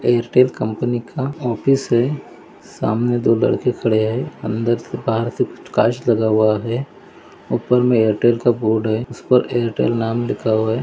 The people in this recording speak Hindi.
एयरटेल कंपनी का ऑफिस है सामने दो लड़के खड़े है अंदर से बाहर से कुछ काच लगा हुआ है उपर मे एयरटेल का बोर्ड है उस पर एयरटेल नाम लिखा हुआ है।